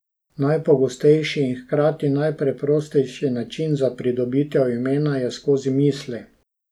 Najpogostejši in hkrati najpreprostejši način za pridobitev imena je skozi misli.